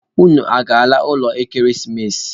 Unu a ga-aga ụlọ ekeresimesi?